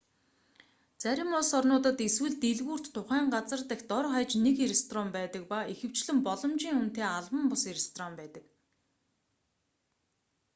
зарим улс орнуудад эсвэл дэлгүүрт тухайн газар дахь дор хаяж нэг ресторан байдаг ба ихэвчлэн боломжиийн үнэтэй албан бус ресторан байдаг